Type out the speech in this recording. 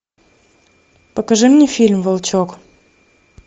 покажи мне фильм волчок